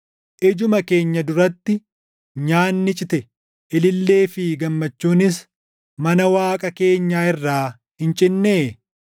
Ijuma keenya duratti nyaanni cite; ilillee fi gammachuunis mana Waaqa keenyaa irraa hin cinnee?